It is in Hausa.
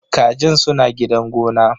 Kajin suna gidan gona.